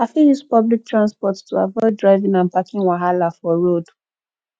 i fit use public transport to avoid driving and parking wahala for road